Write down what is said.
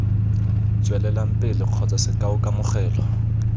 tswelelang pele kgotsa sekao kamogelo